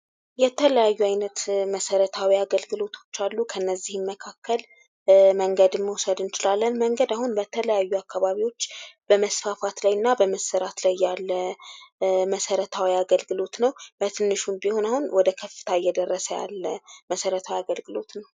የተለያዩ ዓይነት መሰረታዊ አገልግሎቶች አሉ። ከእነዚህም መካከል መንገድን መውሰድ እንችላለን። መንገድ አሁን በተለያዩ አካባቢዎች በመስፋፋት ላይ እና በመሠራት ላይ እያለ መሰረታዊ አገልግሎት ነው። በትንሹም ቢሆን ወደ ከፍታ እየደረሰ ያለ መሠረታዊ አገልግሎት ነው።